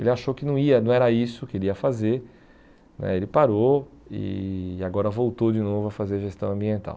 Ele achou que não ia não era isso que ele ia fazer, né ele parou e agora voltou de novo a fazer gestão ambiental.